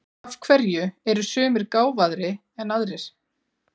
Af hverju eru sumir gáfaðri en aðrir?